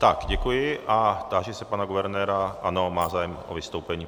Tak, děkuji a táži se pana guvernéra - ano, má zájem o vystoupení.